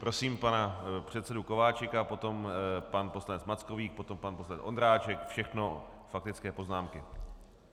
Prosím pana předsedu Kováčika, potom pan poslanec Mackovík, potom pan poslanec Ondráček, všechno faktické poznámky.